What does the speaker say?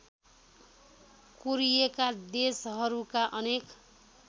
कोरिएका देशहरूका अनेक